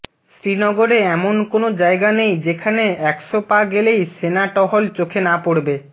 শ্রীনগরে এমন কোনো জায়গা নেই যেখানে একশ পা গেলেই সেনা টহল চোখে না পড়বে